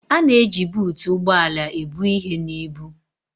A na-eji buutu ụgbọ ala ebu ihe na ibu.